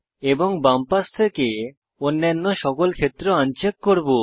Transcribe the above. এবং বাম পাশ থেকে অন্যান্য সমস্ত ক্ষেত্র অনচেক করব